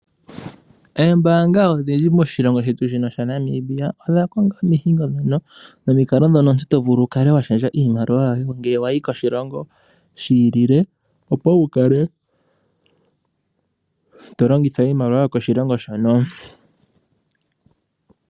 Oombaanga odhindji moshilongo Namibia, odha konga omihingo nomikalo ndhoka omuntu to vulu wu kale wa shendja iimaliwa yoye ngele wa yi koshilongo shi ilile opo wu kale to longitha iimaliwa yokoshilongo shono.